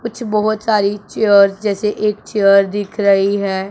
कुछ बहोत सारी चेयर्स जैसे एक चेयर दिख रही है।